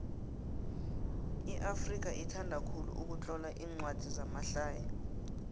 iafrika ithanda khulu ukutlola incwadi zamahlaya